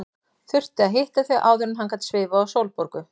Þurfti að hitta þau áður en hann gat svifið á Sólborgu.